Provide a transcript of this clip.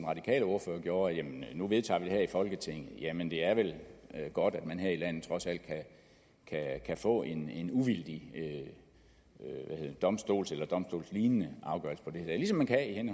radikale ordfører gjorde at nu vedtager vi det her i folketinget ja men det er vel godt at man her i landet trods alt kan få en en uvildig domstols eller domstolslignende afgørelse ligesom man kan